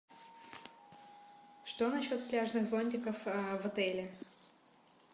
что насчет пляжных зонтиков в отеле